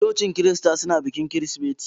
Cocin Kirista suna bikin Kirsimeti.